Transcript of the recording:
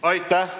Aitäh!